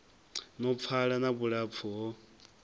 no pfala na vhulapfu ho